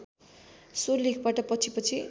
so लेखबाट पछिपछि